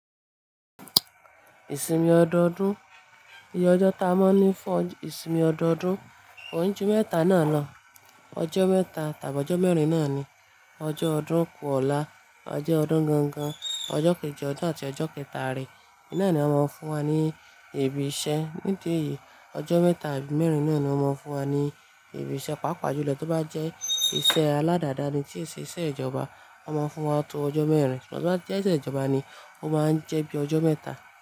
Ìsinmi ọdọọdún, ìye ọjọ́ ta ma n ní fún ìsinmi ọdọọdún, oún ju mẹ́ta náà lọ, ọjọ́ mẹ́ta tàbí ọjọ́ mẹ́rin náà ni, ọjọ́ ọdún kú ọ̀la, ọjọ́ ọdún gangan, ọjọ́ kejì ọdún àti ọjọ́ kẹtà re nine ni won máa ń fún wa ní ìbí ìṣẹ́. Nílé yìí, ọjọ́ mẹ́ta tàbí mẹ́rin náà ni a máa ń fún wa ní ìbí ìṣẹ́. Páapá julo tó bá jẹ́ iṣẹ́ aládàda ni tí ẹ ṣe iṣẹ́ ìjọba, won máa fún wa tó ọjọ́ mẹ́rin. Ṣugbọn tó bá jẹ́ iṣẹ ìjọba ni, ó máa ń jẹ́ bí ọjọ́ mẹ́ta.